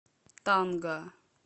танга